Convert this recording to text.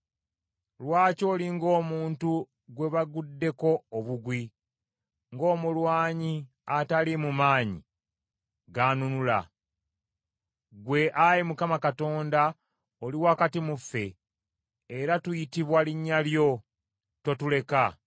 Lwaki oli ng’omuntu gwe baguddeko obugwi, ng’omulwanyi ataliimu maanyi ganunula? Ggwe, Ayi Mukama Katonda, oli wakati mu ffe, era tuyitibwa linnya lyo. Totuleka.